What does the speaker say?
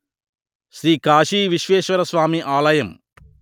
శ్రీ కాశీ విశ్వేశ్వరస్వామి ఆలయం